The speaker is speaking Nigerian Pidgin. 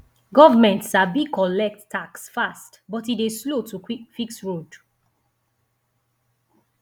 government sabi collect tax fast but e dey slow to fix road